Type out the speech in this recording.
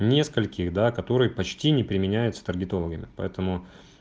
нескольких да которые почти не применяются таргетологами поэтому